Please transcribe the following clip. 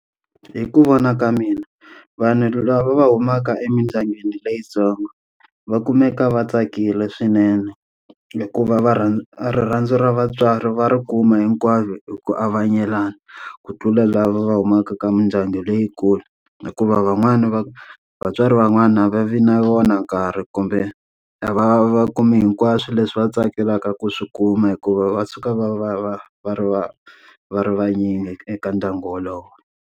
Hi ku vona ka mina, vanhu lava va humaka emindyangwini leyintsongo va kumeka va tsakile swinene, hikuva va rha rirhandzu ra vatswari va ri kuma hinkwavo hi ku avanyelana ku tlula lava va humaka ka mindyangu leyikulu. Hikuva van'wana va vatswari van'wana va vi na wona nkarhi kumbe a va va va kume hinkwaswo leswi va tsakelaka ku swi kuma hikuva va suka va va va va ri va va ri vanyingi eka ndyangu wolowo.